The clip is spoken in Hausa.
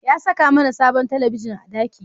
Ya saka mAna sabon talabigin a daki